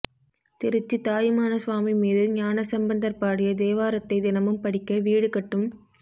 திருச்சி தாயுமான சுவாமி மீது ஞானசம்பந்தர் பாடிய தேவாரத்தை தினமும் படிக்க வீடு கட்டும்